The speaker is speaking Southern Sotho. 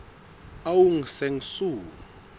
aung san suu